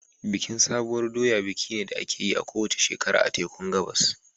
Bikin sabuwar doya biki ne da ake yi a kowace shekara a tekun Gabas.